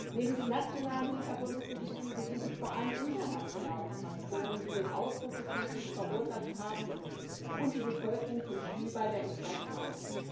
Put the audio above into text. Neben den nationalen Hintergründen für die Krise sind es vor allem internationale Faktoren, die den Ausbruch des Konflikts verursacht haben und die Bevölkerung zum Spielball der Interessen machen.